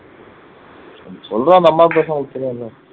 சொல்ற அந்த அம்மா பேசுனா okay தானே